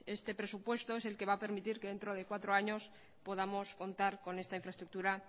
este presupuesto es el que va a permitir que dentro de cuatro años podamos contar con esta infraestructura